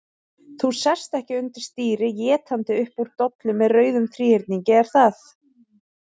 Þú sest ekki undir stýri étandi upp úr dollu með rauðum þríhyrningi, er það?